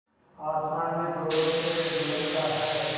आसमान में ज़ोरों से लुढ़कता है